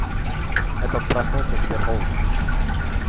я только проснулся и теперь холодно